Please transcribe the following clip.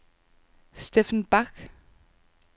Steffen Bach